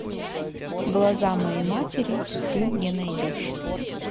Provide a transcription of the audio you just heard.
глаза моей матери ты мне найдешь